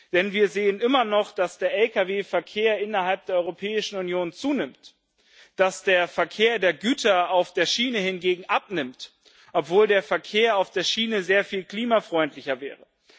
Denn wir sehen immer noch, dass der Lkw Verkehr innerhalb der Europäischen Union zunimmt, dass der Verkehr der Güter auf der Schiene hingegen abnimmt, obwohl der Verkehr auf der Schiene sehr viel klimafreundlicher wäre.